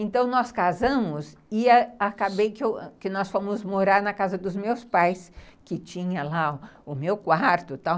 Então, nós casamos e acabei que nós fomos morar na casa dos meus pais, que tinha lá o meu quarto e tal.